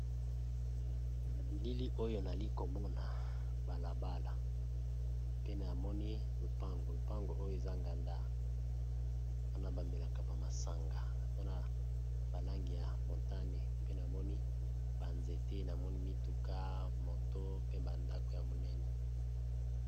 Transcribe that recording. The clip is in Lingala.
Na bilili oyo nali komona balabala pe na moni lopango, lopango oyo eza nganda wana bamelaka ba masanga aza na balangi ya motane, pe namoni banzete namoni mituka moto pe bandako ya monene.